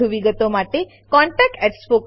વધુ વિગતો માટે કૃપા કરી contactspoken tutorialorg પર લખો